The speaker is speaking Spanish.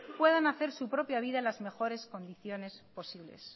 puedan hacer su propia vida en las mejores condiciones posibles